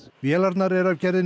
vélarnar eru af gerðinni